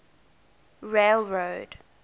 railroad